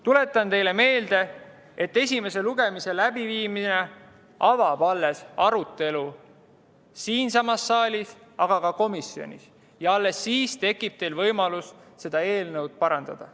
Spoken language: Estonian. Tuletan teile meelde, et esimene lugemine alles avab arutelu – siinsamas saalis, aga ka komisjonis –, alles siis tekib teil võimalus seda eelnõu parandada.